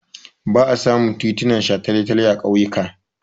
Ba a samun titin shataletale a ƙauyuka.